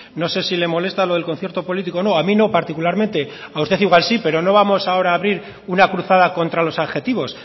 no sé si le molesta lo del concierto político o no a mí no particularmente a usted igual sí pero no vamos ahora a abrir una cruzada contra los adjetivos